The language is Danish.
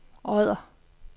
Odder